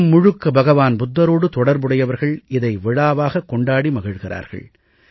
உலகம் முழுக்க பகவான் புத்தரோடு தொடர்புடையவர்கள் இதை விழாவாக கொண்டாடி மகிழ்கிறார்கள்